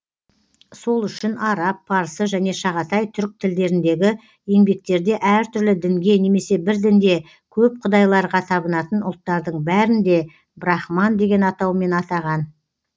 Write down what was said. сол үшін араб парсы және шағатай түрк тілдеріндегі еңбектерде әртүрлі дінге немесе бір дінде көп құдайларға табынатын ұлттардың бәрін де брахман деген атаумен атаған